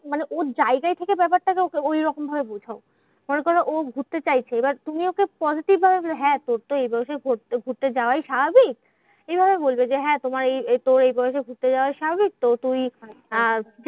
মানে ওর জায়গায় থেকে ব্যাপারটাকে ওকে ঐরকম ভাবে বোঝাও। মনে করো ও ঘুরতে চাইছে, এবার তুমি ওকে positive ভাবে হ্যাঁ তোর তো এই বয়সে ঘু ঘুরতে যাওয়াই স্বাভাবিক। এইভাবে বলবে যে, হ্যাঁ তোমার এই তোর এই বয়সে ঘুরতে যাওয়া স্বাভাবিক। তো তুই আহ